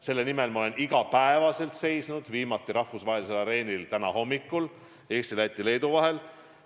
Selle nimel ma olen iga päev seisnud, viimati rahvusvahelisel areenil täna hommikul Eesti, Läti, Leedu vahelises suhtluses.